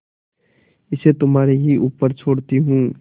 इसे तुम्हारे ही ऊपर छोड़ती हूँ